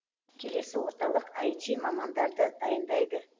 келесі орталық аити мамандарды дайындайды